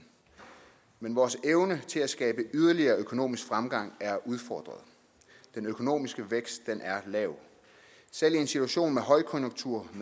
men vores evne til at skabe yderligere økonomisk fremgang er udfordret den økonomiske vækst er lav selv i en situation med højkonjunktur